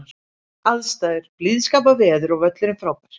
Aðstæður: Blíðskaparveður og völlurinn frábær.